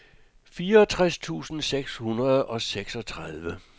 fireogtres tusind seks hundrede og seksogtredive